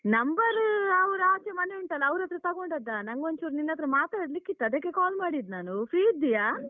number ಅವ್ರು ಆಚೆ ಮನೆ ಉಂಟಲ್ಲ ಅವ್ರತ್ರ ತಗೊಂಡದ್ದ, ನಂಗೊಂಚೂರ್ ನಿನ್ನತ್ರ ಮಾತಾಡ್ಲಿಕ್ಕಿತ್ತು ಅದಕ್ಕೆ call ಮಾಡಿದ್ದು ನಾನು, free ಇದ್ದೀಯಾ?